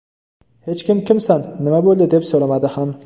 Hech kim kimsan, nima bo‘ldi deb so‘ramadi ham.